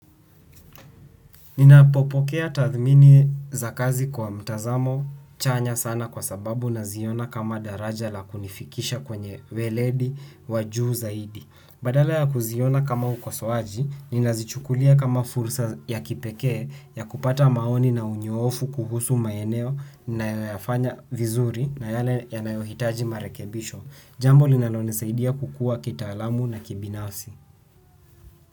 Ninapopokea tathmini za kazi kwa mtazamo chanya sana kwa sababu naziona kama daraja la kunifikisha kwenye weledi wa juu zaidi. Badala ya kuziona kama ukosoaji, ninazichukulia kama fursa ya kipeke ya kupata maoni na unyoofu kuhusu maeneo ninayofanya vizuri na yale yanayohitaji marekebisho. Jambo linalonisaidia kukua kitaalamu na kibinafsi.